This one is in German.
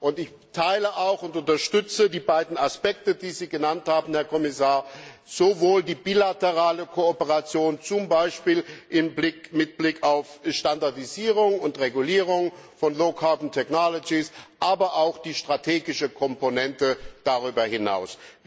Und ich teile und unterstütze auch die beiden Aspekte, die Sie genannt haben, Herr Kommissar, sowohl die bilaterale Kooperation, zum Beispiel mit Blick auf Standardisierung und Regulierung von low carbon technologies, aber auch die strategische Komponente darüber hinaus.